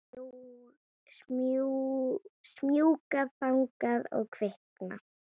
Smjúga þangað og kvikna.